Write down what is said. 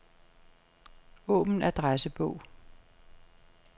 Åbn adressebog.